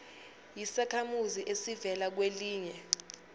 yisakhamuzi esivela kwelinye